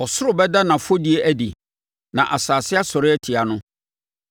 Ɔsoro bɛda nʼafɔdie adi, na asase asɔre atia no.